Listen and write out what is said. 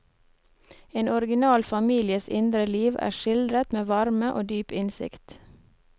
En original families indre liv er skildret med varme og dyp innsikt.